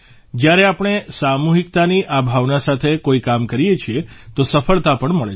જયારે આપણે સામૂહિકતાની આ ભાવના સાથે કોઇ કામ કરીએ છીએ તો સફળતા પણ મળે છે